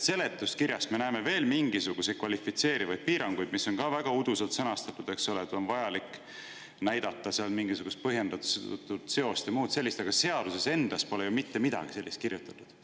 Seletuskirjas me näeme veel mingisuguseid kvalifitseerivaid piiranguid, mis on ka väga uduselt sõnastatud, eks ole, et on vaja näidata mingisugust põhjendatud seost ja muud sellist, aga seaduses endas pole ju mitte midagi sellist kirjutatud.